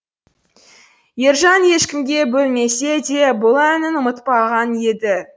ержан ешкімге бөлмесе де бұл әнін ұмытпаған еді